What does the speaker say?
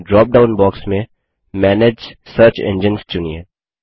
dropdown box में manage search engines चुनिए